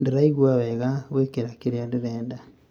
Ndĩraigua wega guĩkĩra kĩrĩa ndĩrenda